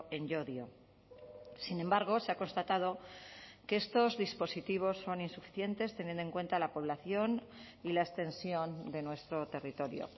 en llodio sin embargo se ha constatado que estos dispositivos son insuficientes teniendo en cuenta la población y la extensión de nuestro territorio